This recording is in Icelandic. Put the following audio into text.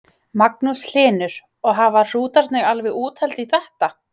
Magnús Hlynur: Og hafa hrútarnir alveg úthald í þetta?